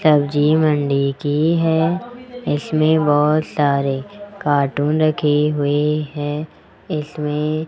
सब्जी मंडी की है इसमें बहुत सारे कार्टून रखे हुए हैं इसमें --